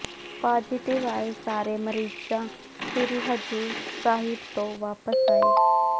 positive ਆਏ ਸਾਰੇ ਮਰੀਜਾਂ ਸ੍ਰੀ ਹਜੂਰ ਸਾਹਿਬ ਤੋਂ ਵਾਪਸ ਆਏ